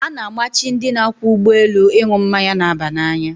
A na-amachi ndị na-akwọ ụgbọelu ịṅụ mmanya na-aba n'anya.